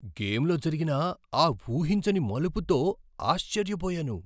గేమ్లో జరిగిన ఆ ఊహించని మలుపుతో ఆశ్చర్యపోయాను.